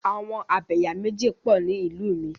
Àwọn Abẹ̀yàméjì pọ̀ ni ìlú mi.